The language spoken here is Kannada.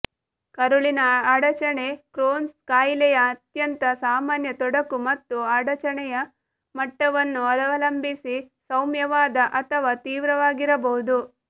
ಕರುಳಿನ ಅಡಚಣೆ ಕ್ರೋನ್ಸ್ ಕಾಯಿಲೆಯ ಅತ್ಯಂತ ಸಾಮಾನ್ಯ ತೊಡಕು ಮತ್ತು ಅಡಚಣೆಯ ಮಟ್ಟವನ್ನು ಅವಲಂಬಿಸಿ ಸೌಮ್ಯವಾದ ಅಥವಾ ತೀವ್ರವಾಗಿರಬಹುದು